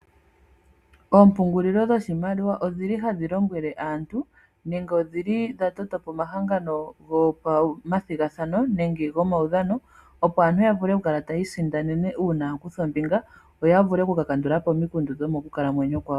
Ompungulilo dhoshiimaliwa odhi li hadhi lombwele aantu nenge odhi li dha toto po omahangano gopamathigathano nenge gomaudhano opo aantu ya vule okukala taya isindanene una ya kutha ombinga opo ya vule okukakandula po omikundu dhomokukalamwenyo kwawo